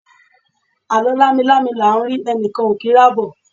alo lami-lami la n ri, enikan o ki n ri abo